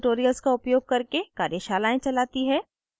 spoken tutorials का उपयोग करके कार्यशालाएं चलाती है